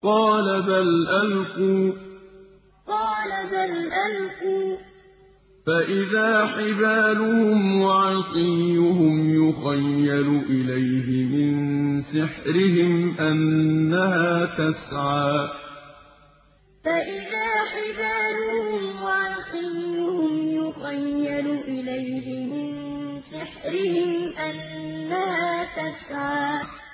قَالَ بَلْ أَلْقُوا ۖ فَإِذَا حِبَالُهُمْ وَعِصِيُّهُمْ يُخَيَّلُ إِلَيْهِ مِن سِحْرِهِمْ أَنَّهَا تَسْعَىٰ قَالَ بَلْ أَلْقُوا ۖ فَإِذَا حِبَالُهُمْ وَعِصِيُّهُمْ يُخَيَّلُ إِلَيْهِ مِن سِحْرِهِمْ أَنَّهَا تَسْعَىٰ